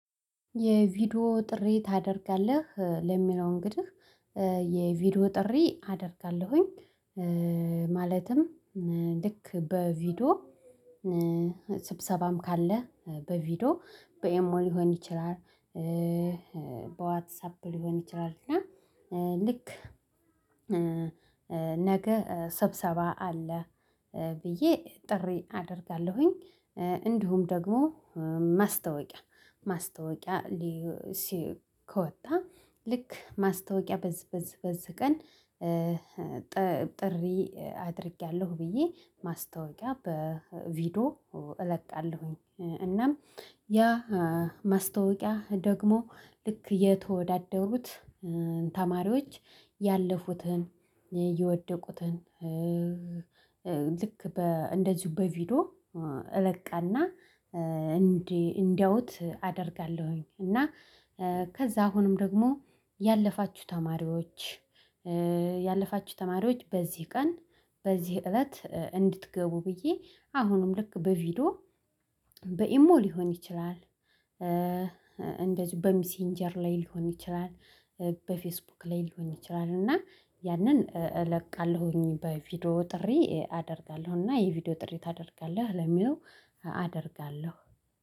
የቪዲዮ ጥሪ ታደርጋለህ ለሚለው እንግዲህ የቪዲዮ ጥሪ አደርጋለሁኝ። ማለትም ልክ በቪዲዮ ስብሰባም ካለ በቪዲዮ በኢሞ ሊሆን ይችላል። በዋትሳፕ ሊሆን ይችላል እና ልክ ነገ ሰብሰባ አለ ብዬ ጥሪ አደርጋለሁኝ። እንዲሁም ደግሞ ማስታወቂያ ማስታወቂያ ከወጣ ልክ ማስታወቂያ በዚህ በዚህ በዚህ ቀን ጥሪ አድርጌያለሁ ብዬ ማስታወቂያ በቪዲዮ እለቃለሁኝ። እናም ያ ማስታወቂያ ደግሞ ልክ የተወዳደሩት ተማሪዎች ያለፉትን የወደቁትን ልክ በ እንደዚሁ በቪዲዮ እለቅና እንዲያዩት አደርጋለሁኝ። እና ከዛ አሁንም ደግሞ ያለፋችሁ ተማሪዎች ያለፋችሁ ተማሪዎች በዚህ ቀን በዚህ እለት እንድትገቡ ብዬ አሁንም ልክ በቪዲዮ በኢሞ ሊሆን ይችላል እንደዚሁ በሚሲንጀር ላይ ሊሆን ይችላል በፌስቡክ ላይ ልሆን ይችላል እና ያንን እለቃለሁኝ በቪዲዮ ጥሪ አደርጋለሁኝ። እና የቪዲዮ ጥሪ ታደርጋለህ ለሚለው አደርጋለሁ።